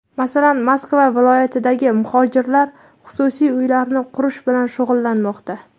Masalan, Moskva viloyatidagi muhojirlar xususiy uylarni qurish bilan shug‘ullanmoqda.